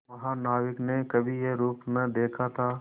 महानाविक ने कभी यह रूप न देखा था